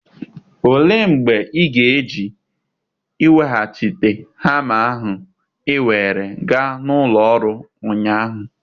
Olee mgbe ị ga-eje iweghachite hama ahụ ị were gaa na ụlọ ọrụ ụnyaahụ?